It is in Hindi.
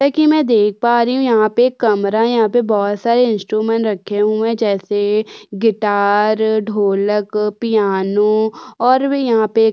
जैसा कि मैं देख पा रही हूँ यहाँ पे एक कमरा है यहाँ पे बहुत सारे इंस्ट्रूमेंट रखें हुए है जैसे गिटार ढोलक पियानो और भी यहाँ पे --